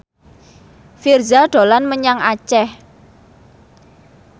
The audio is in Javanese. Virzha dolan menyang Aceh